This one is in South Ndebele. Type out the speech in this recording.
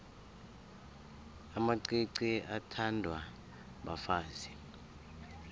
amacici athandwa bafazi